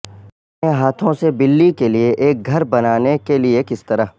اپنے ہاتھوں سے بلی کے لئے ایک گھر بنانے کے لئے کس طرح